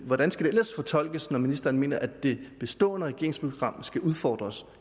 hvordan skal det ellers fortolkes når ministeren mener at det bestående regeringsprogram skal udfordres